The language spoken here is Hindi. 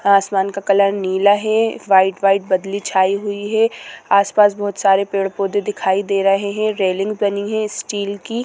आसमान का कलर नीला है व्हाइट व्हाइट बदली छाई हुई है आसपास बहुत सारे पेड़-पौधे दिखाई दे रहे है रेलिंग बनी है स्टील की--